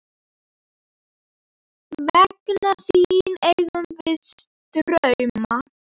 Vegna þín eigum við drauma.